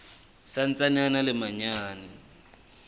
sa ntsaneng a le manyane